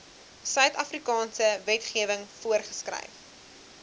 suidafrikaanse wetgewing voorgeskryf